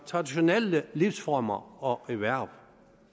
traditionelle livsformer og erhverv